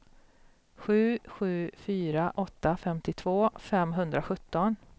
sju sju fyra åtta femtiotvå femhundrasjutton